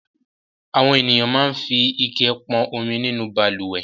Àwọn ènìyàn máa ń fi ike pọn omi nínú balùwẹ̀.